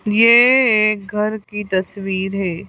ये एक घर की तस्वीर है।